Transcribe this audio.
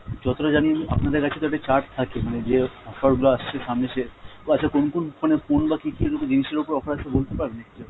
যতটা জানি আমি আপনাদের কাছে তো একটা chart থাকে মানে যে offer গুলো আসছে সামনে সে, ও আচ্ছা কোন কোন মানে phone বা কী কী এরকম জিনিসের ওপর offer আসছে বলতে পারবেন একটু ?